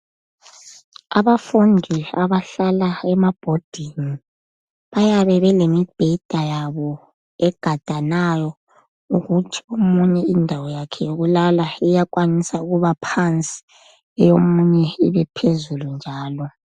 Abafundi abahlala ema"boarding" bayabe belemibheda yabo egadanayo ukuthi omunye indawo yakhe yokulala iyakwanisa ukuba phansi eyomunye ibe phezulu njalo.